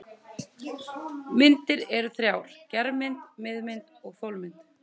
Myndir eru þrjár: germynd, miðmynd og þolmynd.